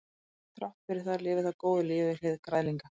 þrátt fyrir það lifir það góðu lífi við hlið græðlinga